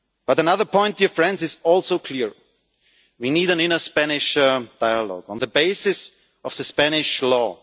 Another point dear friends is also clear we need an inner Spanish dialogue, on the basis of Spanish